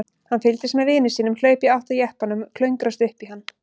Hann fylgdist með vini sínum hlaupa í átt að jeppanum og klöngrast upp í hann.